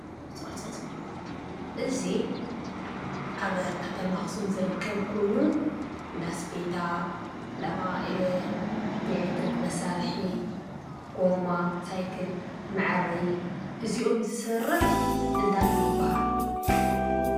እዚ ኣብ ከተማ ኣክሱም ዝርከብ ኮይኑ እንዳ ስፌታ፣ እንዳ ኤለትሪክ መሳርሒ፣ ጎማ ሳይክል መዐረዪ እዚኦም ዝሰርሕ እንታይ ይበሃል?